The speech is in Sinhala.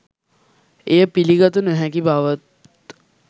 එය පිළිගත නොහැකි බවත්